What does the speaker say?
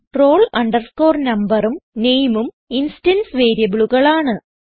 roll numberഉം nameഉം instance വേരിയബിളുകൾ ആണ്